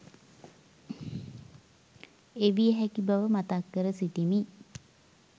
එවිය හැකි බව මතක් කර සිටිමි.